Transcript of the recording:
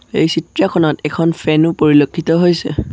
এই চিত্ৰখনত এখন ফেনো ও পৰিলক্ষিত হৈছে।